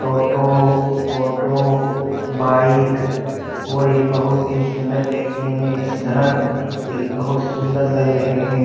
टोटो auto bike और ये बहुत ही सुन्दर दिखने में इस बहुत सुन्दर लग रहे है ।